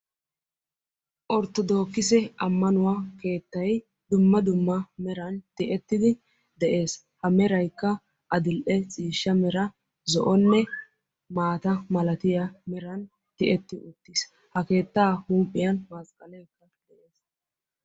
Orttodokkisse ammanuwa keettay dumma dumma meran tiyetidi de'ees. A meraykka adil"e ciishshaa mera zo"onne maata malatiya meran tiyeti uttiis, ha keettaa huuphphiyan...